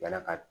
Yala ka